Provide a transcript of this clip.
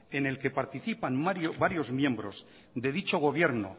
en el que participan varios miembros de dicho gobierno